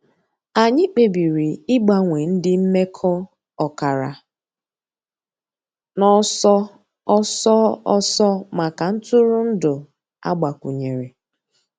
Ànyị̀ kpèbìrì ị̀gbanwe ńdí m̀mekọ̀ ọ̀kàrà n'ọ̀sọ̀ òsọ̀ òsọ̀ mǎká ntụrụ̀ndụ̀ àgbàkwùnyèrè.